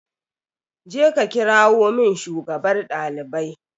Je ka kirawo min shugabar ɗalibai